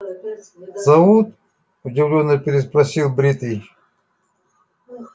зовут удивлённо переспросил бритый